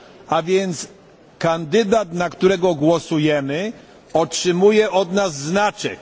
A więc kandydat, na którego głosujemy otrzymuje od nas znaczek.